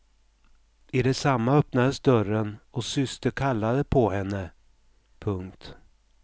I detsamma öppnades dörren och syster kallade på henne. punkt